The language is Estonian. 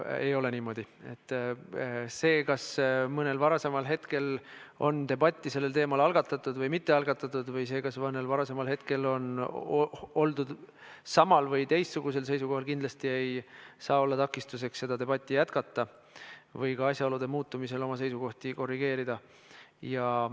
Tegelikult on niimoodi, et see, kas mõnel varasemal hetkel on debatt sellel teemal algatatud või mitte, või see, kas mõnel varasemal hetkel on oldud samal või teistsugusel seisukohal, kindlasti ei saa olla takistuseks debatti jätkata või asjaolude muutumisel oma seisukohti korrigeerida.